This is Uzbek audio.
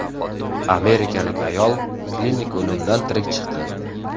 Amerikalik ayol klinik o‘limdan tirik chiqdi.